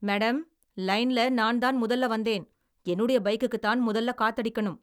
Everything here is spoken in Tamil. மேடம், லைன்ல நான்தான் முதல்ல வந்தேன். என்னுடைய பைக்குக்குத்தான் முதல்ல காத்தடிக்கனும்.